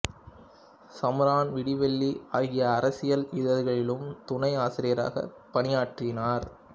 சமரன் விடிவெள்ளி ஆகிய அரசியல் இதழ்களிலும் துணை ஆசிரியராகப் பணியாற்றினார்